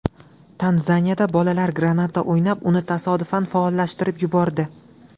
Tanzaniyada bolalar granata o‘ynab, uni tasodifan faollashtirib yubordi.